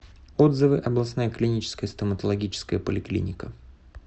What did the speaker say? отзывы областная клиническая стоматологическая поликлиника